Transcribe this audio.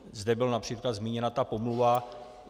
Zde byla například zmíněna ta pomluva.